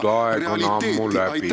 Kas te tunnistate seda realiteeti?